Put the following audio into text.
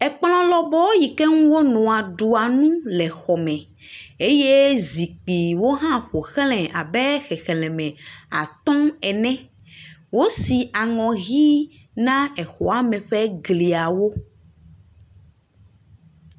Ekplɔ lɔbɔɔ si ŋu wonɔna ɖua nu le xɔ me eye zikpuiwo hã ƒoxlae abe xexlẽme atɔ̃ ene, wosi aŋɔ ʋi na exɔa me ƒe gliawo.